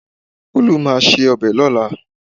Olú máa se ọbẹ̀ lọ́la